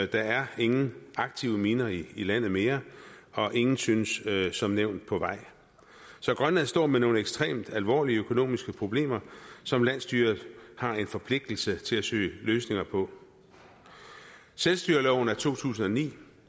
der er ingen aktive miner i landet mere og ingen synes som nævnt på vej så grønland står med nogle ekstremt alvorlige økonomiske problemer som landsstyret har en forpligtelse til at søge løsninger på selvstyreloven af to tusind og ni